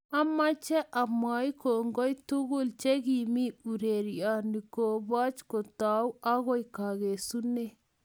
amoche amwoi kongoi tugul che ki mii urerioni kobochi kotou agoi kakesune